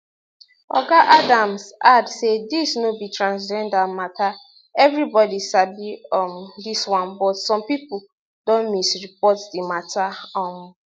oga adams add say dis no be transgender mata everibodi sabi um dis one but some pipo don misreport di mata um